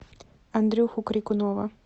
андрюху крикунова